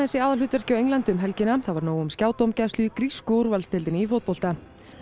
í aðalhlutverki á Englandi um helgina það var nóg um skjádómgæslu í grísku úrvalsdeildinni í fótbolta